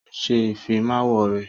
Ó ń ṣe Ìfimáwo rẹ̀